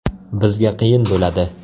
Bizga qiyin bo‘ladi.